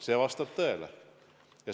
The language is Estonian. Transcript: See vastab tõele.